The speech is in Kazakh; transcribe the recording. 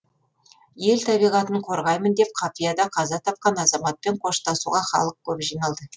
ел табиғатын қорғаймын деп қапияда қаза тапқан азаматпен қоштасуға халық көп жиналды